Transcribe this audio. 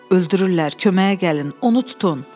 Öldürürlər, köməyə gəlin, onu tutun.